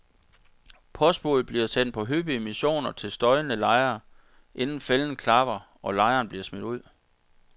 Postbudet bliver sendt på hyppige missioner til støjende lejere, inden fælden klapper, og lejeren bliver smidt ud.